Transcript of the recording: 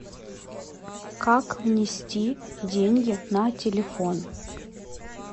как внести деньги на телефон